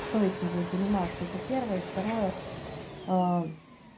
кто этим будет заниматься это первое и второе ээ